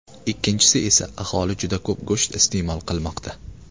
Ikkinchisi esa aholi juda ko‘p go‘sht iste’mol qilmoqda.